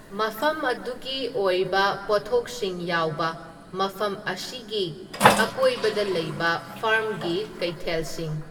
ꯃꯐꯝꯗꯨꯒꯤ ꯑꯣꯏꯕ ꯄꯣꯠꯊꯣꯛꯁꯤꯡ ꯌꯥꯎꯕ ꯃꯐꯝ ꯑꯁꯤꯒꯤ ꯑꯀꯣꯢꯕꯗ ꯂꯩꯕ ꯐꯥꯔꯝꯒꯤ ꯀꯩꯊꯦꯜꯁꯤꯡ